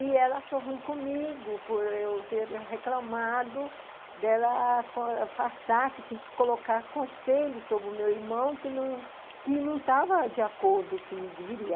E ela achou ruim comigo por eu ter reclamado dela achar que tinha que colocar conselho sobre o meu irmão, que não, que não estava de acordo com o que deveria.